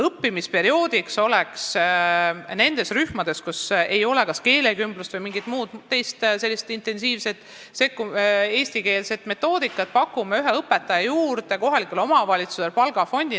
Õppimisperioodiks pakume nendesse rühmadesse, kus ei ole kas keelekümblust või mingit muud intensiivset eestikeelse õppe metoodikat, ühe õpetaja juurde, täiendades kohaliku omavalitsuse palgafondi.